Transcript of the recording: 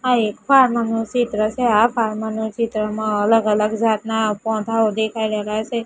આ એક નુ ચિત્ર છે આ ના ચિત્રમાં અલગ અલગ જાતના પૌધાઓ દેખાય રહેલા છે.